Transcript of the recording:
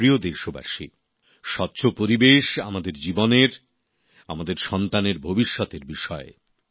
আমার প্রিয় দেশবাসী স্বচ্ছ পরিবেশ আমাদের জীবনের আমাদের সন্তানের ভবিষ্যতের বিষয়